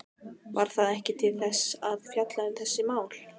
Var það ekki til þess að fjalla um þessi mál?